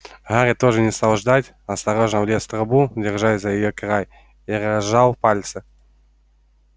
гарри тоже не стал ждать осторожно влез в трубу держась за её край и разжал пальцы